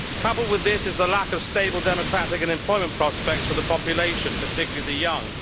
Coupled with this is the lack of stable democratic and employment prospects for the population particularly the young.